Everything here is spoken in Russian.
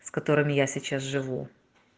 с которыми я сейчас живу